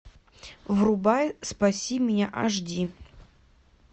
врубай спаси меня аш ди